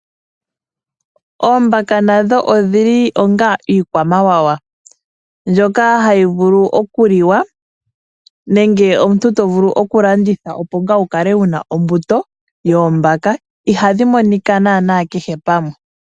Oombaka ndho odhili onga iikwamawawa. Mbyoka hayi vulu okuliwa nenge omuntu to vulu okulanditha opo ngaa wukale wuna ombuto oombaka. Ihadhi monika naanaa kehe pamwe.